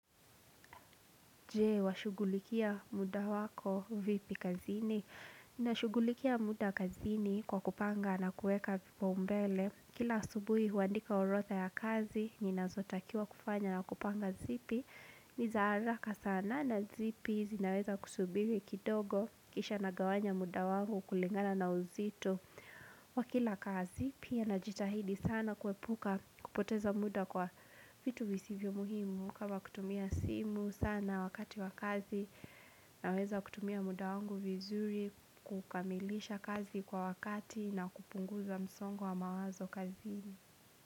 Je, washughulikia muda wako vipi kazini. Ninashughulikia muda kazini kwa kupanga na kuweka vipaumbele. Kila asubuhi huandika orodha ya kazi, ninazotakiwa kufanya na kupanga zipi. Ni za haraka sana na zipi zinaweza kusubiri kidogo kisha nagawanya muda wangu kulingana na uzito. Kwa kila kazi pia najitahidi sana kuepuka kupoteza muda kwa vitu visivyo muhimu. Kama kutumia simu sana wakati wa kazi naweza kutumia muda wangu vizuri kukamilisha kazi kwa wakati na kupunguza msongo wa mawazo kazini.